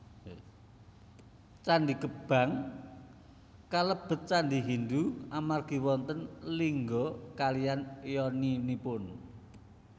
Candhi Gebang kalebet candhi Hindu amargi wonten lingga kaliyan yoninipun